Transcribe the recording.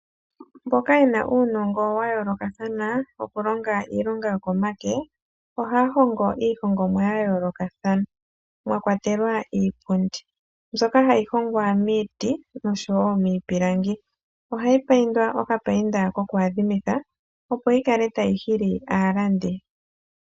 Mboka yena uunongo wa yoolokathana wokulonga iilonga yokomake. Ohaya hongo iihongomwa ya yoolokathana mwa kwatelwa iipundi mbyoka hayi hongwa miiti noshowo miipilangi. Ohayi paindwa okapainda koku adhimitha opo yi kale tayi hili aalandi.